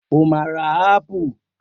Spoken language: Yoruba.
O máa ra ápù.